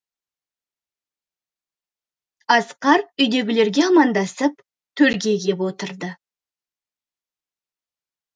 асқар үйдегілерге амандасып төрге кеп отырды